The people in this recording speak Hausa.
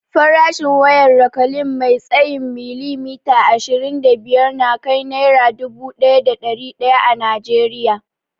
Farashin wayar rakalin mai tsayin milimita ashirin da biyar nakai naira dubu daya da dari daya a najeriya